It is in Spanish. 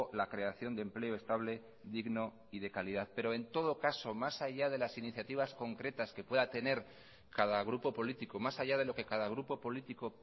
la creación de empleo estable digno y de calidad pero en todo caso más allá de las iniciativas concretas que pueda tener cada grupo político más allá de lo que cada grupo político